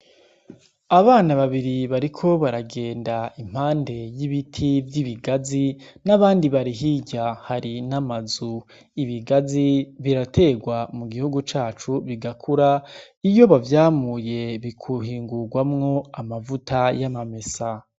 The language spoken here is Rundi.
Abana babiri bariko baragenda impande y'ibiti vy'ibigazi n'abandi barihirya hari n'amazu ibigazi biraterwa mu gihugu cacu bigakura iyo bavyamuye bikuhingurwamwo amavuta y'amamesa.